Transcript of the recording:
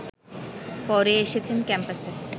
পরে এসেছেন ক্যাম্পাসে